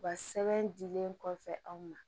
U ka sɛbɛn dilen kɔfɛ anw ma